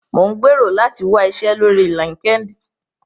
Mò ń gbèrò láti wá iṣẹ́ lórí LinkedIn